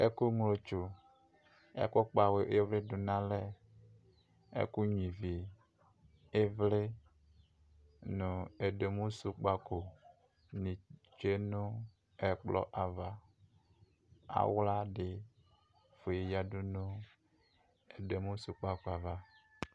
Ɛkʋ ŋlotsʋ ɛkʋ kpawu ɩvlɩdʋ dunu alɛ ɛkʋ nyua ivi ivli nʋ ɛduemusʋ kpako tsue nʋ ɛkplɔ ava axladɩ yanʋ ɛduemusʋ kpako ava